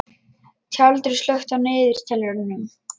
Tjaldur, slökktu á niðurteljaranum.